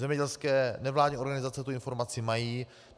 Zemědělské nevládní organizace tu informaci mají.